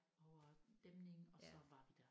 Over dæmningen og så var vi der